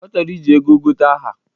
Ọ chọrọ iji ego gote aha?